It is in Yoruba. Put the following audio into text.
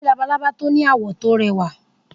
Mo rí labalábá tó ní àwọ̀ tó rẹwá.